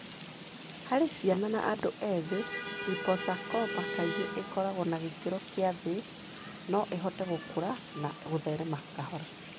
Harĩ ciana na andũ ethĩ, liposarcoma kaingĩ ĩkoragũo ya gĩkĩro kĩa thĩ(no ĩhote gũkũra na gũtherema kahora).